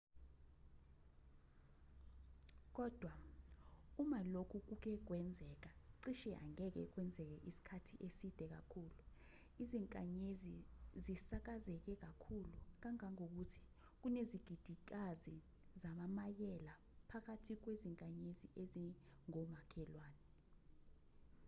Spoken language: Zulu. kodwa uma lokhu kuke kwenzeke cishe angeke kwenzeke isikhathi eside kakhulu izinkanyezi zisakazeke kakhulu kangangokuthi kunezigidigidikazi zamamayela bakwathi kwezinkanyezi ezingomakhelwane